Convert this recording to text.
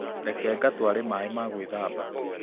Reke ngatware maĩ ma gwĩthamba